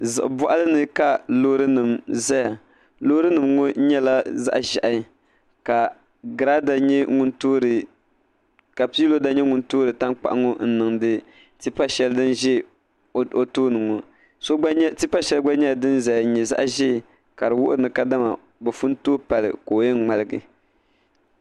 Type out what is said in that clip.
Ziɣi boɣali ni ka loori nim ʒɛya loori nim ŋo nyɛla zaɣ ʒiɛhi ka piiroda nyɛ ŋun toori tankpaɣu ŋo n niŋdi tipa shɛli ŋun ʒɛ o tooni ŋo tipa shɛli gba nyɛla din ʒɛya n nyɛ zaɣ ʒiɛ ka di wuhi ni kadama bi pun tooi pali la o yɛn ŋmaligi